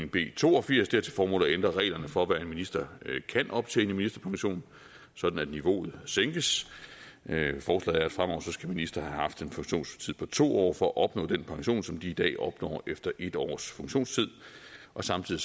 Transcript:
b to og firs til formål at ændre reglerne for hvad en minister kan optjene i ministerpension sådan at niveauet sænkes forslaget er at fremover skal ministre have haft en funktionstid på to år for at opnå den pension som de i dag opnår efter en års funktionstid og samtidig